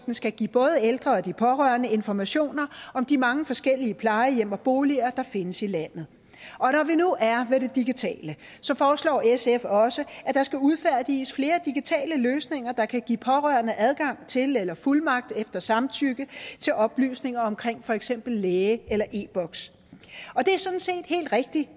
skal give både ældre og de pårørende informationer om de mange forskellige plejehjem og boliger der findes i landet og når vi nu er ved det digitale foreslår sf også at der skal udfærdiges flere digitale løsninger der kan give pårørende adgang til eller fuldmagt efter samtykke til oplysninger om for eksempel læge eller e boks og det er sådan set helt rigtig